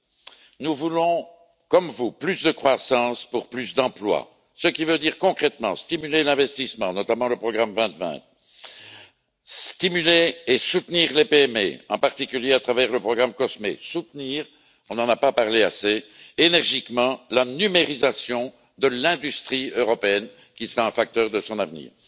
Premièrement, nous voulons, comme vous, plus de croissance pour plus d'emplois, ce qui veut dire concrètement stimuler l'investissement, notamment le programme 2020, stimuler et soutenir les PME, en particulier à travers le programme COSME, soutenir énergiquement on n'en a pas assez parlé la numérisation de l'industrie européenne, qui sera un facteur de son avenir.